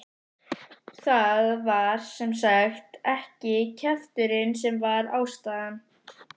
Það var sem sagt ekki kjafturinn sem var ástæðan.